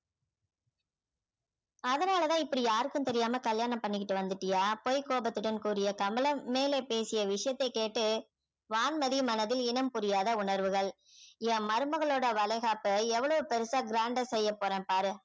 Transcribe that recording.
அதனால தான் இப்படி யாருக்கும் தெரியாம கல்யாணம் பண்ணிகிட்டு வந்துட்டியா பொய் கோபத்துடன் கூரிய கமலம் மேலே பேசிய விஷயத்தை கேட்டு வான்மதியின் மனதில் இனம் புரியாத உணர்வுகள் என் மருமகளோட வளையகாப்பை எவ்வளவு பெருசா grand ஆ செய்ய போறேன் பாரு